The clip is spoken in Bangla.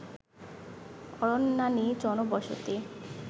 অরণ্যানী জনবসতি